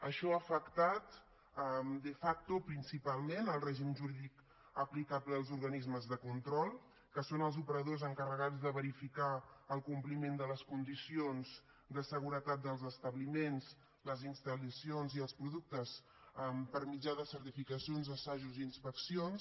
això ha afectat de facto principalment el règim jurídic aplicable als organismes de control que són els operadors encarregats de verificar el compliment de les condicions de seguretat dels establiments les instal·lacions i els productes per mitjà de certificacions assajos i inspeccions